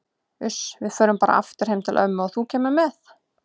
Uss, við förum bara aftur heim til ömmu og þú kemur með.